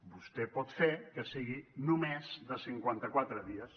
vostè pot fer que sigui només de cinquanta quatre dies